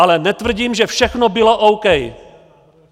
Ale netvrdím, že všechno bylo OK.